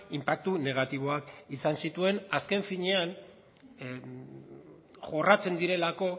inpaktu negatiboak izan zituen azken finean jorratzen direlako